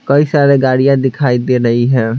कई सारे गाड़ियां दिखाई दे रही है।